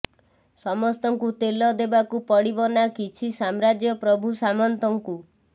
ସମସ୍ତଙ୍କୁ ତେଲ ଦେବାକୁ ପଡିବ ନା କିଛି ସାମ୍ରାଜ୍ୟ ପ୍ରଭୁ ସାମନ୍ତଙ୍କୁ